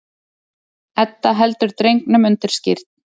Edda heldur drengnum undir skírn.